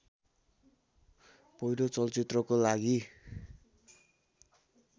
पहिलो चलचित्रको लागि